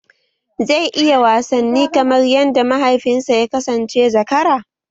Zai iya wasanni kamar yadda mahaifinsa ya kasance zakara?